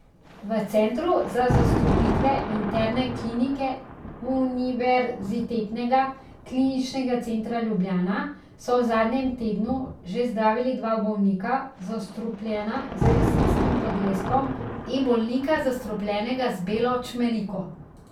V Centru za zastrupitve interne klinike Univerzitetnega kliničnega centra Ljubljana so v zadnjem tednu že zdravili dva bolnika, zastrupljena z jesenskim podleskom, in bolnika, zastrupljenega z belo čmeriko.